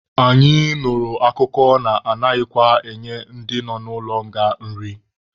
Anyị nụrụ akụkọ na-anaghịkwa enye ndị nọ n'ụlọ nga nri.